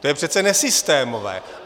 To je přece nesystémové.